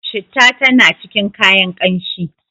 citta tana cikin kayan kanshi